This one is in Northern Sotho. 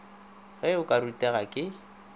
ge o ka rutega ke